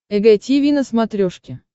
эг тиви на смотрешке